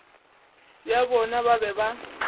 bja bona ba be ba